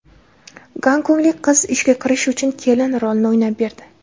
Gonkonglik qiz ishga kirish uchun kelin rolini o‘ynab berdi.